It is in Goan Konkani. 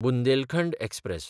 बुंदेलखंड एक्सप्रॅस